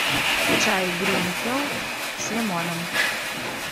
чай гринфилд с лимоном